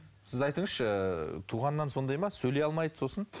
сіз айтыңызшы туғаннан сондай ма сөйлей алмайды сосын